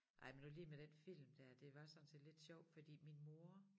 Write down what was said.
Ej men nu lige med den film der det var sådan set lidt sjovt fordi min mor